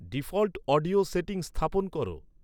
default audio setting স্থাপন করো